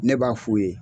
Ne b'a f'u ye